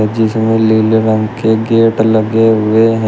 जिसमें नीले रंग के गेट लगे हुए हैं।